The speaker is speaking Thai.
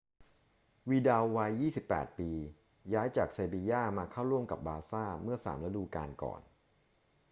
วิดัลวัย 28 ปี ย้ายจากเซบีญ่ามาเข้าร่วมกับบาร์ซ่าเมื่อสามฤดูกาลก่อน